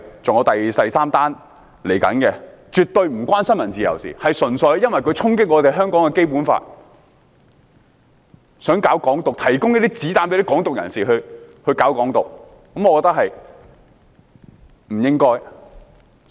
這事件絕對與新聞自由無關，純粹因為有人衝擊《基本法》，想搞"港獨"，提供子彈給"港獨"人士，我覺得不該這樣。